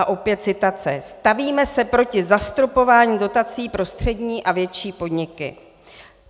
A opět citace: "Stavíme se proti zastropování dotací pro střední a větší podniky."